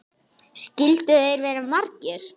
Skyldu þeir vera margir?